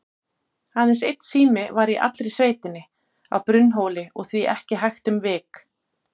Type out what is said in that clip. Aðeins einn sími var í allri sveitinni, á Brunnhóli, og því ekki hægt um vik.